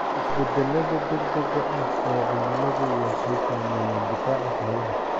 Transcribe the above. Isbeddellada degdega ah ee cimiladu waxay saameeyaan difaaca xoolaha.